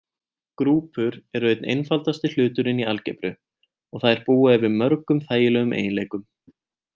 Grúpur eru einn einfaldasti hluturinn í algebru og þær búa yfir mörgum þægilegum eiginleikum.